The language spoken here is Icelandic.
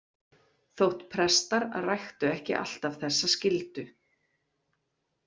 Þótt prestar ræktu ekki alltaf þessa skyldu.